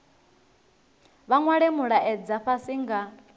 vha nwale mulaedza fhasi nga